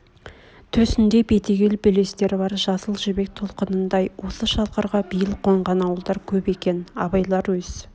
төсінде бетегел белестер бар жасыл жібек толқынындай осы шалқарға биыл қонған ауылдар көп екен абайлар өз